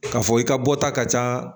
K'a fɔ i ka bɔta ka ca